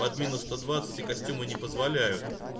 под минус сто двадцать костюмы не позволяют